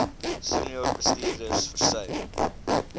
senior bestuurders versuim